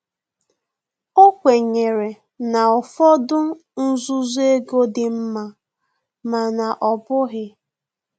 O kwenyere na ụfọdụ nzuzo ego dị nma, mana ọ bụghị